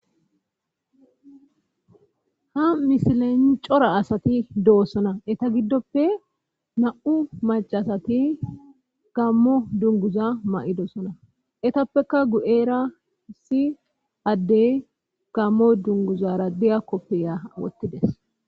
Ha misilen cora asati doossana eta giddoppe na7u macasati gammo dunguza ma7idoossona etappeka gu7era si addey gammo dunguza radiya koppeya wottides.